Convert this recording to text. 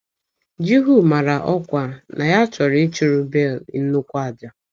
Jihu mara ọkwa na ya chọrọ ịchụrụ Bel “ nnukwu àjà. ”